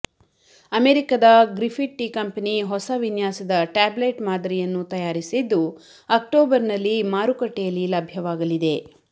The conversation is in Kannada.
ಅಮೆರಿಕದ ಗ್ರಿಪ್ಪಿಟ್ಟಿಕಂಪೆನಿ ಹೊಸ ವಿನ್ಯಾಸದ ಟ್ಯಾಬ್ಲೆಟ್ ಮಾದರಿಂುುನ್ನು ತಂುುಾರಿಸಿದ್ದು ಅಕ್ಟೌಬರ್ನಲ್ಲಿ ಮಾರುಕಟ್ಟೆಂುುಲ್ಲಿ ಲಭ್ಯವಾಗಲಿದೆ